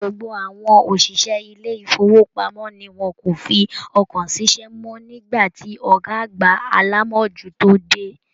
Gbogbo àwọn oṣiṣẹ ilé ifowopamọ ní wọn kò fi ọkàn sí iṣẹ mọ, nigba ti ọgá àgbà alamojuto dé.